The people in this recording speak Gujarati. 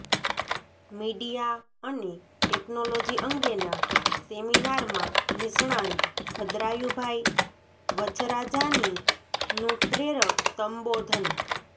મીડિયા અને ટેકનોલોજી અંગેના સેમિનારમાં નિષ્ણાંત ભદ્રાયુભાઈ વચ્છરાજાનીનું પ્રેરક સંબોધન